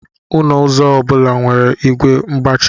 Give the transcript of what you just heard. Ọnụ ụzọ obula nwere igwe mgbachi